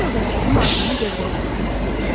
Sinif yoldaşlarım Aygünü dövrəyə alıblar.